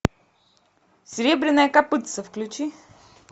серебряное копытце включи